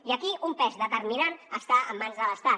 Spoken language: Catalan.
i aquí un pes determinant està en mans de l’estat